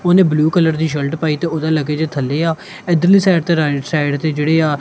ਉਹਨੇਂ blue colour ਦੀ shirt ਪਾਈ ਤੇ ਓਹਦਾ ਲਗੇਜ ਥੱਲੇ ਆ ਇੱਧਰ ਲੀ ਸਾਈਡ ਤੇ ਰਾਇਟ ਸਾਈਡ ਤੇ ਕਿਹੜਿਆ--